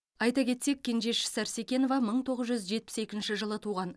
айта кетсек кенжеш сарсекенова мың тоғыз жүз жетпіс екінші жылы туған